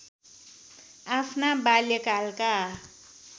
आफ्ना बाल्यकालका